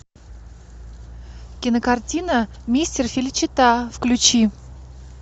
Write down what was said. кинокартина мистер феличита включи